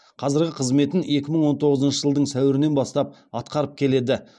қазіргі қызметін екі мың он тоғызыншы жылдың сәуірінен бастап атқарып келеді